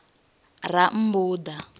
rammbuḓa